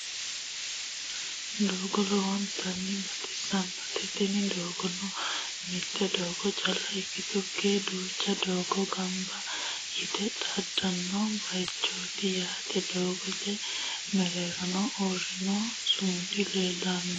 doogo lowontanni baxisannote tinni doogonno mitte doogo cala ikitukkinni duucha dooga ganba yitte xaadanno bayichoti yaate doogote mereerohono uurino sumudi leelanno.